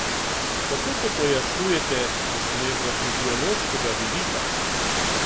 Kako to pojasnjujete z nevrofiziološkega vidika?